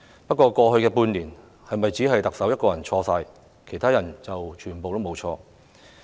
不過，過去半年是否只是特首一個人的錯，其他人全部無錯？